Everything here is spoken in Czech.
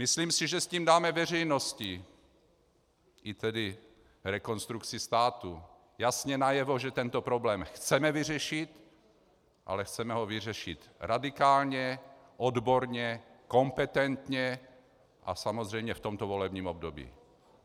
Myslím si, že tím dáme veřejnosti, a tedy i Rekonstrukci státu jasně najevo, že tento problém chceme vyřešit, ale chceme ho vyřešit radikálně, odborně, kompetentně a samozřejmě v tomto volebním období.